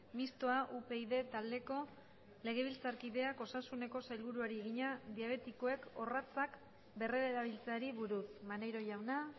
mistoa upyd taldeko legebiltzarkideak osasuneko sailburuari egina diabetikoek orratzak berrerabiltzeari buruz maneiro jauna